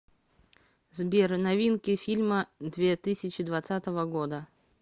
сбер новинки фильма две тысячи двадцатого года